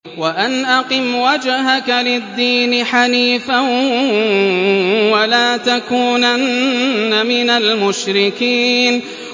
وَأَنْ أَقِمْ وَجْهَكَ لِلدِّينِ حَنِيفًا وَلَا تَكُونَنَّ مِنَ الْمُشْرِكِينَ